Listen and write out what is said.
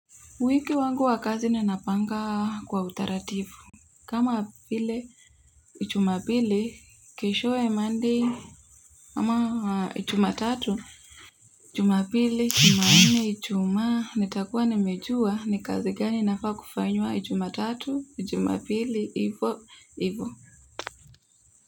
Wiki wangu wa kazi ninapanga kwa utarativu. Kama vile. Ijumapili keshowe monday. Ama ijumatatu. Jumapili, Jumanne, Ijumaa. Nitakua nimejua ni kazi gani inafaa kufanywa Jumatatu Jumapili, hivo, hivo.